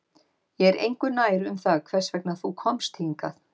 Ég er engu nær um það hvers vegna þú komst hingað